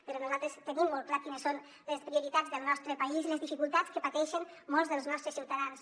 però nosaltres tenim molt clar quines són les prioritats del nostre país i les dificultats que pateixen molts dels nostres ciutadans